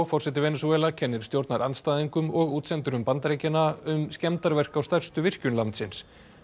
forseti Venesúela kennir stjórnarandstæðingum og útsendurum um skemmarverk á stærstu virkjun landsins